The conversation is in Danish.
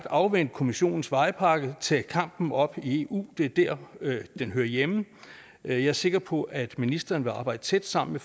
afvente kommissionens vejpakke og tage kampen op i eu det er der den hører hjemme jeg er sikker på at ministeren vil arbejde tæt sammen